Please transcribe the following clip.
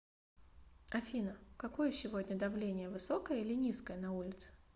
афина какое сегодня давление высокое или низкое на улице